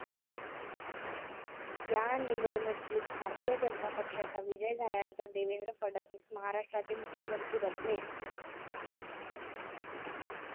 ह्या निवडणुकीत भारतीय जनता पक्षाचा विजय झाल्यानंतर देवेंद्र फडणवीस महाराष्ट्राचे मुख्यमंत्री बनले.